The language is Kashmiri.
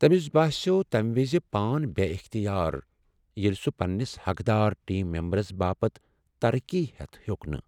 تمِس باسیوو تمہِ وِزِ پان بے اختیار ییلہِ سہُ پننِس حقدار ٹیم میمبرس باپت ترقی ہیتھ ہیوٚک نہٕ ۔